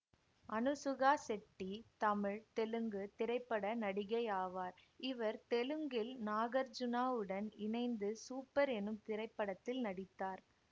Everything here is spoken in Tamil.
அனுசுகா செட்டி தமிழ் தெலுங்கு திரைப்பட நடிகையாவார் இவர் தெலுங்கில் நாகர்ச்சுனாவுடன் இணைந்து சூப்பர் எனும் திரைப்படத்தில் நடித்தார்